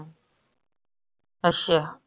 ਆਸ਼ਾ